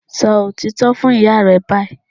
Sọ òtítọ́ fún ìyá rẹ báyìí